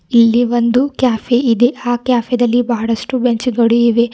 ಇಲ್ಲಿ ಒಂದು ಕೆಫೆ ಇದೆ ಆ ಕೆಫೆ ದಲ್ಲಿ ಬಹಳಷ್ಟು ಬೆಂಚು ಗಳಿವೆ.